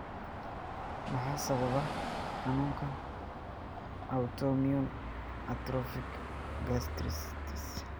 Maxaa sababa xanuunka 'autoimmune atrophic gastritis'?